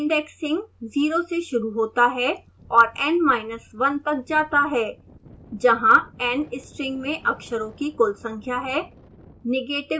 indexing 0 से शुरू होता है और n1 तक जाता है